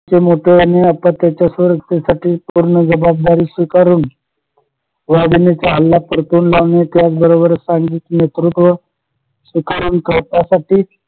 ते मोठं आणि आता त्याचा साठी पूर्ण जबाबदारी स्वीकारून वाघिणीचा हल्ला परतून लावने त्याचबरोबर नेतृत्व